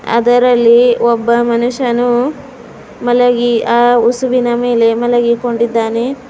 ಅದರಲ್ಲಿ ಒಬ್ಬ ಮನುಷ್ಯನು ಮಲಗಿ ಆ ಹುಸುವಿನ ಮೇಲೆ ಮಲಗಿಕೊಂಡಿದ್ದಾನೆ.